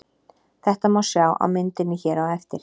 Þetta má sjá á myndinni hér á eftir.